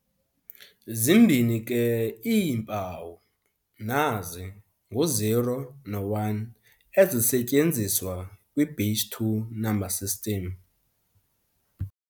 Zimbini ke iimpawu, nazi, ngu-0 no-1, ezisetyenziswa kwi-base two number system.